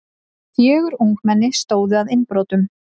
Fjögur ungmenni stóðu að innbrotum